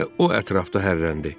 Elə o ətrafda hərrləndi.